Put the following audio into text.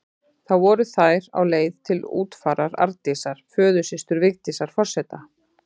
Þá voru þær á leið til útfarar Arndísar, föðursystur Vigdísar forseta.